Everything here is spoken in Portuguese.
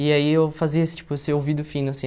E aí eu fazia esse tipo esse ouvido fino, assim.